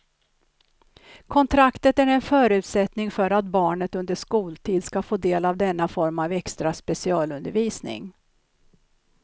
Kontraktet är en förutsättning för att barnet under skoltid ska få del av denna form av extra specialundervisning.